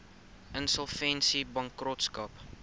insolvensiebankrotskap